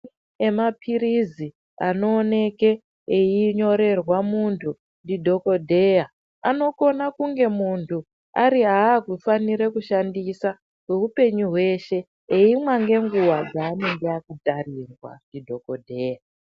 Emaphirizi anooneke einyorerwa muntu ndidhokodheya anokona kunge muntu ari akufanira kushandisa kweupenyu hweshe eimwa ngenguwa dzanenge akatarirwa ndidhokodheya.